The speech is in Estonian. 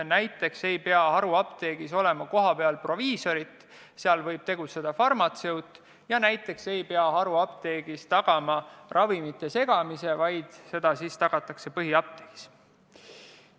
Näiteks ei pea haruapteegis olema kohapeal proviisorit, seal võib tegutseda farmatseut, ja haruapteegis ei pea olema ravimite valmistamise võimalust, küll aga tuleb see tagada põhiapteegis.